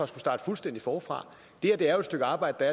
starte fuldstændig forfra det er jo et stykke arbejde der